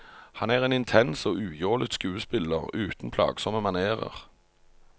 Han er en intens og ujålet skuespiller, uten plagsomme manérer.